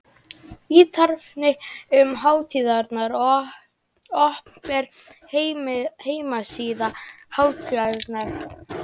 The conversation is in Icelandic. Ítarefni um hátíðina: Opinber heimasíða hátíðarinnar.